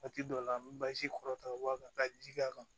Waati dɔw la an bɛ basi kɔrɔ ta ka bɔ a kan ka ji k'a kan